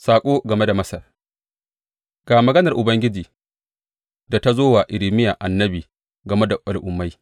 Saƙo game da Masar Ga maganar Ubangiji da ta zo wa Irmiya annabi game da al’ummai.